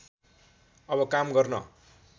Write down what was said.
अब काम गर्न